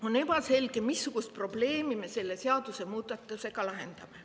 On ebaselge, missugust probleemi me selle seadusemuudatusega lahendame.